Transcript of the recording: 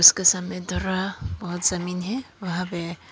उसके सामने बहोत जमीन है वहां पे--